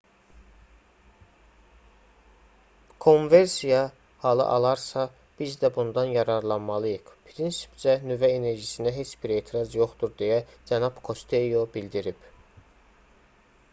kommversiya halı alarsa biz də bundan yararlanmalıyıq prinsipcə nüvə enerjisinə heç bir etiraz yoxdur deyə cənab kosteyo bildirib